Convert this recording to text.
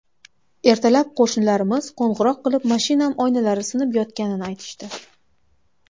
Ertalab qo‘shnilarimiz qo‘ng‘iroq qilib, mashinam oynalari sinib yotganini aytishdi.